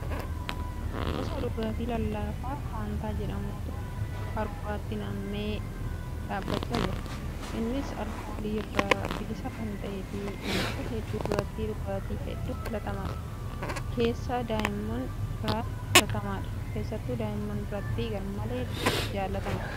Gosa dhugaatii lallaafaa faantaa jedhamutu qaruuratti nammee dhaabbachaa jira. Innis alkoolii irraa bilisa kan ta'ee fi namoota hedduu biratti dhugaatii hedduu filatamaadha. Keessattu daa'immaan biratti faantaan garmalee jaalatamaadha. Afaan qaruuraa koorkiidhaan saamsamaadha.